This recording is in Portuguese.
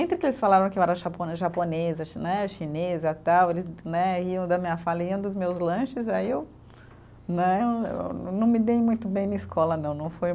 Entre que eles falavam que eu era japo, japonesa, chi né, chinesa, tal, ele né, riam da minha fala, riam dos meus lanches, aí eu né, eh não me dei muito bem na escola, não, não foi